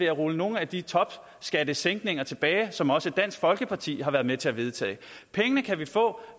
at rulle nogle af de topskattesænkninger tilbage som også dansk folkeparti har været med til at vedtage pengene kan vi få